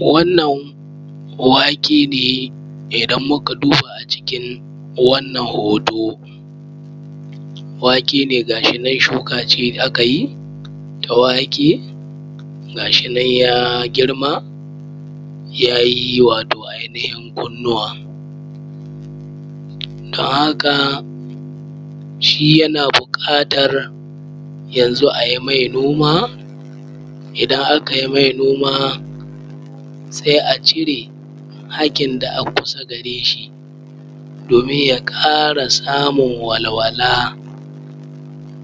Wannan wake ne idan muka duba a cikin wannan hoto. Wake ne ga shi nan shi kace akayi na wake, ga shi nan ya girma ya yi awato ainihin kunnuwa. Don haka shi yana buƙatan yanzu ai mai noma in aka yi mai noma sai a cire hakkin da a kusa gare shi domin ya ƙara samun walwala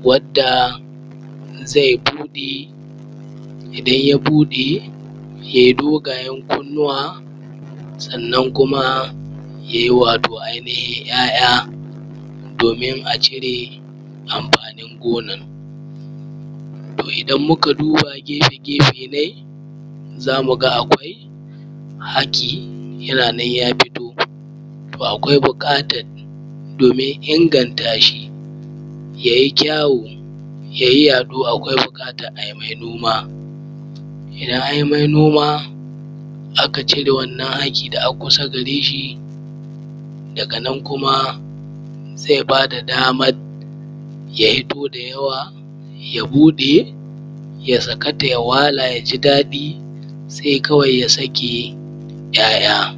wadda zai buɗe. Idan ya buɗe ya yi dogayen kunnuwa sannan kuma ya yi wato ainihin ’ya’yan domin a cire amfanin gonan. To idan muka duba gefe-gefe na shi zamu ga akwai hakki ya fito. To akwai buƙatan domin inganta shi ya yi kyau ya yi yaɗo. Akwai buƙatan a mai noma. Idan an yi noma aka cire wannan hakki da a kusa gare shi daga nan kuma zai ba da damar ya fito da yawa, ya buɗe, ya saka ta, ya wala, ya ji daɗi sai kawai ya sake ’ya’yan.